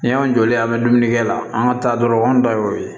Ni y'an jɔlen an bɛ dumuni kɛ la an ka taa dɔrɔn anw ta y'o ye